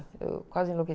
Eu quase enlouqueci.